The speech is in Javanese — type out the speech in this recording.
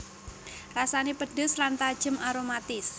Rasané pedhes lan tajem aromatis